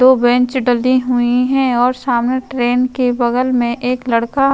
दो बेंच डली हुई हैं और सामने ट्रेन के बगल में एक लड़का --